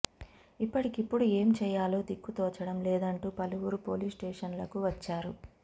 ఇప్పటికిప్పుడు ఏం చేయాలో దిక్కు తోచడం లేదంటూ పలువురు పోలీస్స్టేషన్లకు వచ్చారు